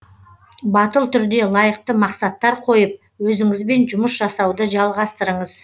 батыл түрде лайықты мақсаттар қойып өзіңізбен жұмыс жасауды жалғастырыңыз